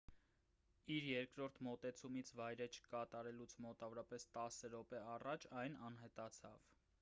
իր երկրորդ մոտեցումից վայրէջք կատարելուց մոտավորապես տասը րոպե առաջ այն անհետացավ